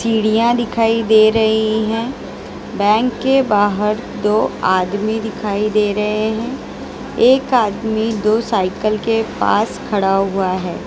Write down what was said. सीढ़ियां दिखाई दे रही है बैंक के बाहर दो आदमी दिखाई दे रहे हैं एक आदमी दो साइकल के पास खड़ा हुआ है।